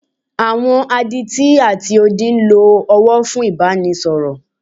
Àwọn Adití ati odi ń lo ọwọ́ fún Ìbánisọ̀rọ̀.